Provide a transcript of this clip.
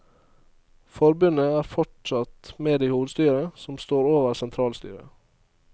Forbundet er fortsatt med i hovedstyret, som står over sentralstyret.